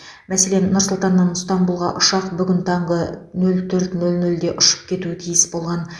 мәселен нұр сұлтаннан ыстанбұлға ұшақ бүгін таңғы нөл төрт нөл нөлде ұшып кетуі тиіс болған